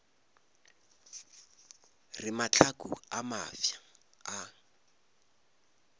re mahlaku a mafsa a